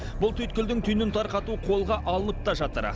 бұл түйткілдің түйінін тарқату қолға алынып та жатыр